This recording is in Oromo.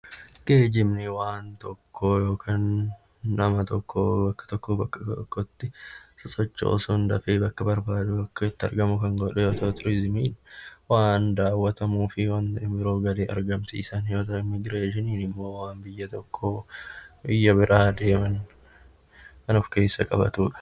Geejjibni waan tokko yookaan nama tokko bakka tokkoo bakka tokkotti sosochoosuun dafee bakka barbaadu akka itti argamu kan godhu yoo ta'u; Turiizimiin waan daawwatamuu fi waan galii argamsiisan yoo ta'u; Immigireeshiniin immoo waan biyya tokkoo biyya biraa deeman kan of keessa qabatu dha.